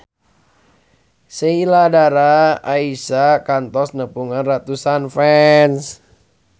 Sheila Dara Aisha kantos nepungan ratusan fans